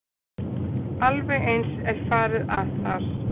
Alveg eins er farið að þar.